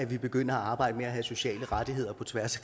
vi begynder at arbejde med at have sociale rettigheder på tværs